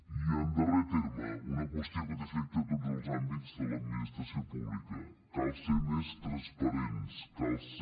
i en darrer terme una qüestió que té efecte a tots els àmbits de l’administració pública cal ser més transparents cal ser